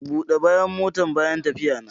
Bude bayan motan bayan tafiyana.